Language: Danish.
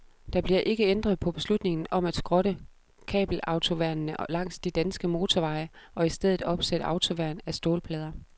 Der bliver ikke ændret på beslutningen om at skrotte kabelautoværnene langs de danske motorveje og i stedet opsætte autoværn af stålplader.